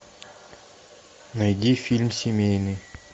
найди фильм семейный